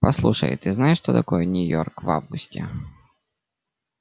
послушай ты знаешь что такое нью-йорк в августе